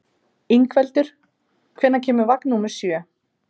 Ingveldur, hvenær kemur vagn númer sjö?